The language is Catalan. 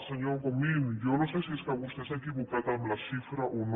senyor comín jo no sé si és que vostè s’ha equivocat amb la xifra o no